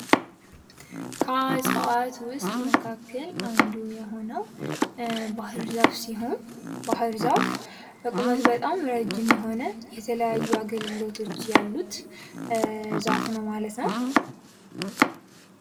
ከእጽዋት ውስጥ መካከል አንዱ የሆነው ባህር ዛፍ ሲሆን ፤ ባህር ዛፍ በቁመት በጣም ረዥም የሆነ የተለያዩ አገልግሎቶች ያሉት ዛፍ ነው ማለት ነው።